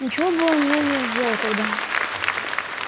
ничего бы он мне не сделал тогда